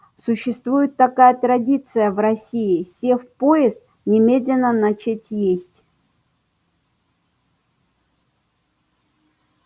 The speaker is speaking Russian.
существует такая традиция в россии сев в поезд немедленно начать есть